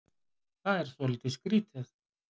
Það er svolítið skrítið